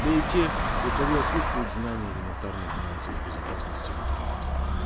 да и те у кого отсутствуют знания элементарные финансовой безопасности в интернете